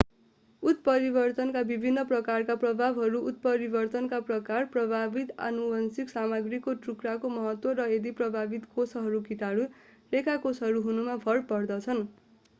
उत्परिवर्तनका विभिन्न प्रकारका प्रभावहरू उत्परिवर्तनका प्रकार प्रभावित आनुवंशिक सामग्रीको टुक्राको महत्त्व र यदि प्रभावित कोषहरू कीटाणुरेखा कोषहरू हुनुमा भर पर्दछन्।